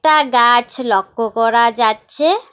একটা গাছ লক্ষ্য করা যাচ্ছে।